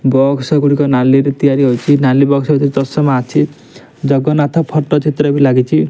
Box ଗୁଡିକ ନାଲିରେ ତିଆରି ହୋଇଚି ନାଲି ବକ୍ସ ଭିତରେ ତଷମା ଅଛି ଜଗନ୍ନାଥ ଫଟୋ ଚିତ୍ର ବି ଲାଗିଚି ।